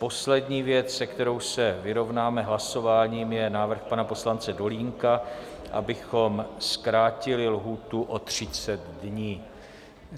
Poslední věc, s kterou se vyrovnáme hlasováním, je návrh pana poslance Dolínka, abychom zkrátili lhůtu o 30 dní.